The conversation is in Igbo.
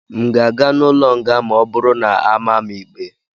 M ga-aga n'ụlọ nga ma ọ bụrụ na a maa m ikpe?